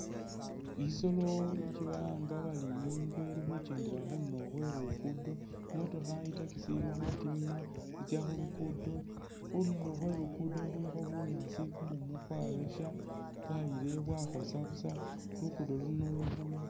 Isolo isi balanga bari ingwe ili khukyendela khunduro khwe lugudo , imotoka i’taxi ili khutima itsa khulugudo ,khunduro khwe lugudo khulikho bunyaasi kumumu kwayosha bwayilawo bwakhosa busa ,lugufo luno kilo lwa ma